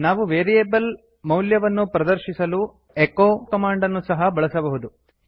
ನಾವು ವೇರಿಯೇಬಲ್ ಮೌಲ್ಯವನ್ನು ಪ್ರದರ್ಶಿಸಲು ಎಚೊ ಕಮಾಂಡ್ ಅನ್ನು ಸಹ ಬಳಸಬಹುದು